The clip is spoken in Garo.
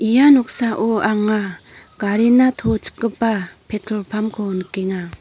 ia noksao anga garina to chipgipa petrol pump-ko nikenga.